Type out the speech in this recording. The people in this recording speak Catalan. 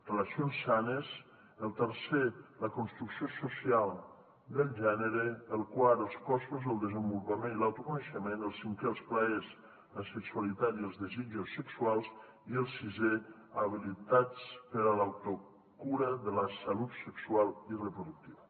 relacions sanes el tercer la construcció social del gènere el quart els cossos el desenvolupament i l’autoconeixement el cinquè els plaers la sexualitat i els desitjos sexuals i el sisè habilitats per a l’autocura de la salut sexual i reproductiva